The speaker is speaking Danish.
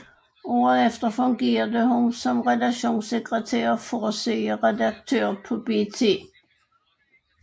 Året efter fungerede hun som redaktionssektretær og forsideredaktør på BT